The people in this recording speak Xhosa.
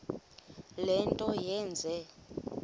le nto yenze